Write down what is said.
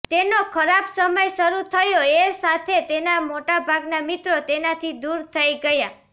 તેનો ખરાબ સમય શરૂ થયો એ સાથે તેના મોટાભાગના મિત્રો તેનાથી દૂર થઈ ગયા